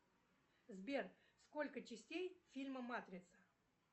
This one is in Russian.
сбер сколько частей фильма матрица